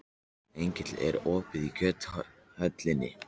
Engill, er opið í Kjöthöllinni?